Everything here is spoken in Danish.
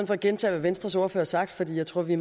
for at gentage hvad venstres ordfører har sagt for jeg tror at vi